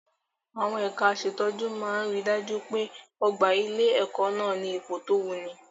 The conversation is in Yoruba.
Àwọn ẹ̀ka aṣètọ́jú máa ri dájú pé ọ̀gbà ilé-ẹ̀kọ́ nà ní ipò tó wuni.